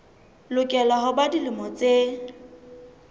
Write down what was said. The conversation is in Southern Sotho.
lokela ho ba dilemo tse